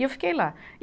E eu fiquei lá. E